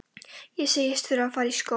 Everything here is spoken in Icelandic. Ég segist þurfa að fara í skó.